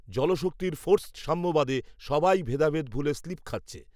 জলশক্তীর forced সাম্যবাদে, সবাই ভেদাভেদ, ভুলে, স্লিপ, খাচ্ছে